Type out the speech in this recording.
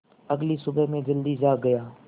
अगली सुबह मैं जल्दी जाग गया